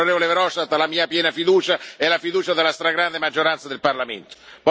Si può essere d'accordo o meno su quello che dice, ma ha la fiducia della stragrande maggioranza del Parlamento.